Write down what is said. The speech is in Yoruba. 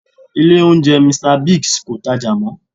Ilé oúnjẹ Mr. Biggs kò tajà mọ́